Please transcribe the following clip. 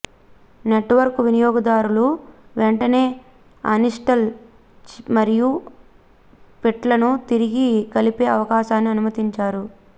network వినియోగదారులు వెంటనే Aniston మరియు పిట్లను తిరిగి కలిపే అవకాశాన్ని అనుమతించారు